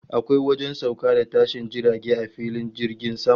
Akwai wajen sauka da tashin jirage a filin jirgin sama